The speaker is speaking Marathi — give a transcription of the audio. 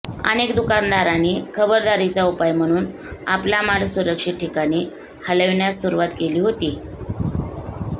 अनेक दुकानदारांनी खबरदारीचा उपाय म्हणून आपला माल सुरक्षित ठिकाणी हलविण्यास सुरुवात केली होती